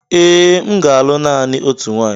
Ee, m ga-alụ naanị otu nwaanyị